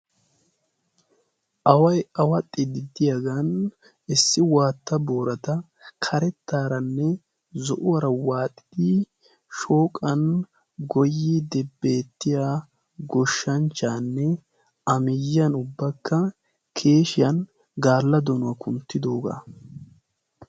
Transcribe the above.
Away awaxxidi diyaagan issi waatta boorata karettaaranne zo'uwaara waaxidi shooqan goyidi beettiya goshshanchchaanne amiyyiyan ubbakka keeshiyan gaalla donuwaa kunttidoogaa.